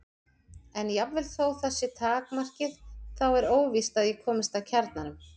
En jafnvel þótt það sé takmarkið þá er óvíst að ég komist að kjarnanum.